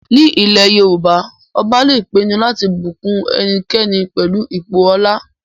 Ní ilẹ̀ Yorùbá, ọba lè pinu láti bùkún ẹnikẹni pẹlú ipò ọlá